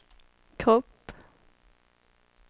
kropp